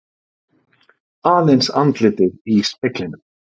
Aðeins andlitið í speglinum.